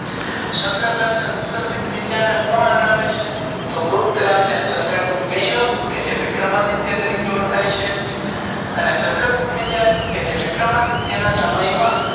ક્ષતર્પ રાજા રુદ્ર સિંહ ને કોમ હરાવે છે તો ગુપ્ત રાજા ચંદ્ર ગુપ્ત બીજો કે જે વિક્રમ આદિત્ય તરીકે ઓળખ્યા છે અને ચંદ્ર ગુપ્ત બીજા જે વિક્રમ આદિત્ય ના સમય માં